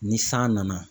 Ni san nana